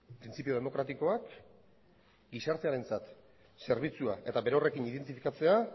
printzipio demokratikoak gizartearentzat zerbitzua eta berorrekin identifikatzea